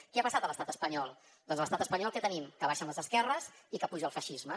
què ha passat a l’estat espanyol doncs a l’estat espanyol què tenim que baixen les esquerres i que puja el feixisme